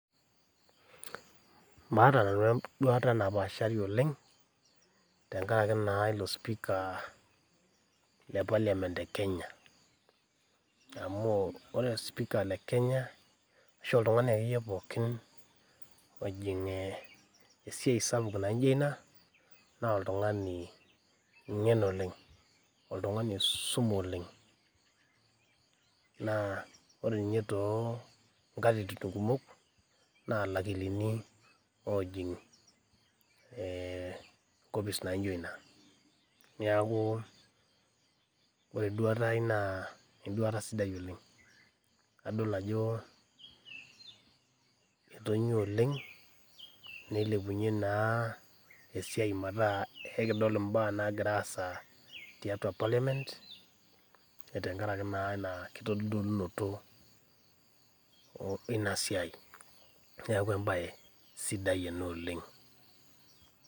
Maata nanu enduata napaashari oleng' tengaraki naa ilo speaker le parliament le Kenya. Amu ore speaker le Kenya ashu oltung'ani akeiye pookin ojing' eeh esiai sapuk naijo ina naa oltung'ani ng'en oleng', oltung'ani oisume oleng'. Naa ore ninye toonkatitin kumok naa lakilini oojing' ehh nkopis naijo ina. Neakuu ore enduata ai naa enduata sidai oleng', adol ajoo etonyuaa oleng' neilepunye naa esiai metaa eikidol imbaa naagiraasa tiatua  parliament tengarake naa ina kitodolunoto eina siai, neaku embaye sidai ena oleng'.